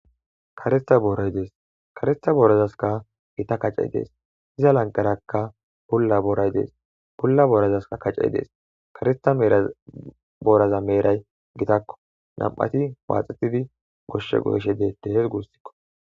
karesta booray dees karesta boorazaska gita kacey dees iza lanqarakka bulla booray dees pulla boorazaska kacey dees karista meerabooraza meeray gitakko nam7ati paaxetidi goshshe goeshe deette hes gussikko